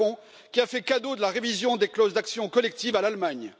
Macron, qui a fait cadeau de la révision des clauses d'action collective à l'Allemagne.